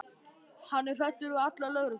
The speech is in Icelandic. Hann er hræddur við alla lögreglumenn.